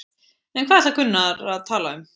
En hvað ætlar Gunnar að tala um?